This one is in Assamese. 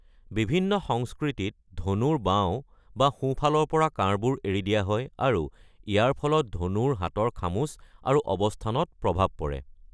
বিভিন্ন সংস্কৃতিত ধনুৰ বাওঁ বা সোঁফালৰ পৰা কাঁড়বোৰ এৰি দিয়া হয় আৰু ইয়াৰ ফলত ধনুৰ হাতৰ খামুচ আৰু অৱস্থানত প্ৰভাৱ পৰে।